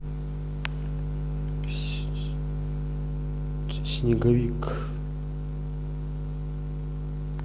снеговик